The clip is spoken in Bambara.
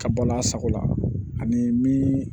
Ka bɔ n'a sago la ani min